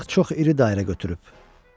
Balıq çox iri dairə götürüb.